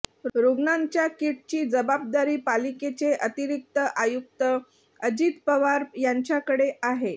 रुग्णांच्या किटची जबाबदारी पालिकेचे अतिरिक्त आयुक्त अजित पवार यांच्याकडे आहे